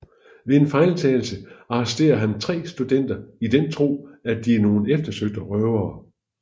Ved en fejltagelse arresterer han tre studenter i den tro at de er nogen eftersøgte røvere